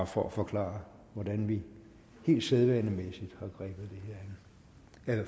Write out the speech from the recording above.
for forklare hvordan vi rent sædvanemæssigt her an